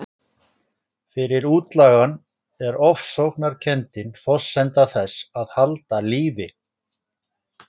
Fyrir útlagann er ofsóknarkenndin forsenda þess að halda lífi.